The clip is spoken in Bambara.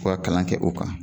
U ka kalan kɛ u kan